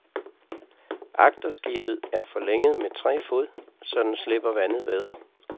Agterskibet er forlænget med tre fod, så den slipper vandet bedre.